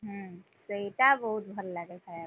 ହୁଁ, ସେଇଟା ବହୁତ ଭଲ ଲାଗେ ଖାୟାକୁ।